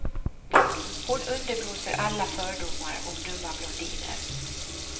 Hon underblåser alla fördomar om dumma blondiner.